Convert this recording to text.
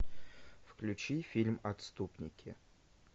включи фильм отступники